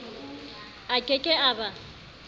a ke ke a ba